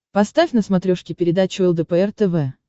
поставь на смотрешке передачу лдпр тв